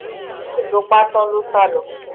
lẹ́yìn tó pa á tán ló sá lọ